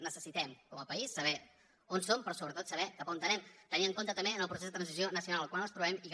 necessitem com a país saber on som però sobretot saber cap a on anem tenint en compte també en el procés de transició nacional en el qual ens trobem i que